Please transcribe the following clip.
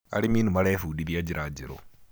arĩmi nĩmarebundithia njira njeru